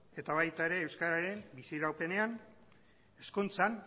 eta baita ere euskararen biziraupenean hezkuntzan